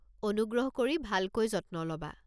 অনুগ্ৰহ কৰি ভালকৈ যত্ন ল'বা।